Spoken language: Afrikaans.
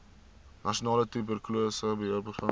nasionale tuberkulose beheerprogram